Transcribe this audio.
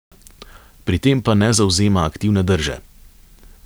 Pri tem pa ne zavzema aktivne drže.